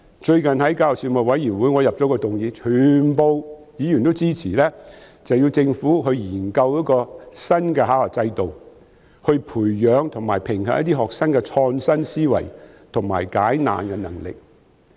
最近我在教育事務委員會上提出一項議案，全部議員都支持政府研究一個新的考核制度來培養和評核學生的創新思維及解難能力。